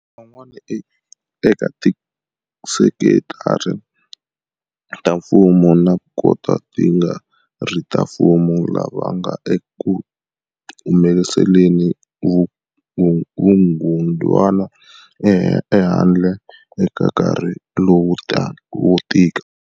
Lavan'wana eka tisekitara ta mfumo na toka ti nga ri ta mfumo lava nga ekuhumeseleni vukungudwana ehandle eka nkarhi lowo tika.